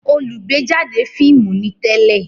olùgbéjáde fíìmù ni tẹ́lẹ̀